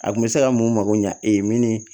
A kun bɛ se ka mun mago ɲɛ e min